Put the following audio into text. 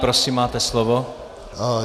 Prosím, máte slovo.